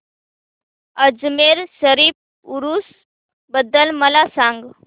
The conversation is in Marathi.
अजमेर शरीफ उरूस बद्दल मला सांग